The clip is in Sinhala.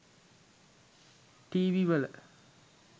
ටීවි වල